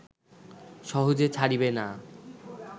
সহজে ছাড়িবে না